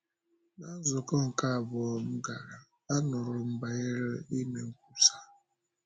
Ná nzukọ nke abụọ m gara, anụrụ m banyere ime nkwusa.